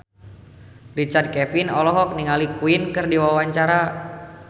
Richard Kevin olohok ningali Queen keur diwawancara